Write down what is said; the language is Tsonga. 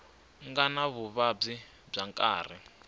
nga ni vuvabyi bya nkarhi